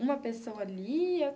Uma pessoa lia?